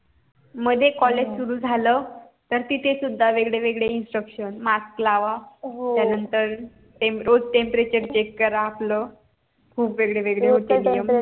मध्ये college सुरु झालं तर तिथे सुद्धा वेगळे वेगळे instruction mask लावा त्यानंतर रोज temperature check करा आपलं खुप वेगळे वेगेळे होते नियम